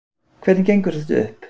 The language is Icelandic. Hvernig gengur þetta upp?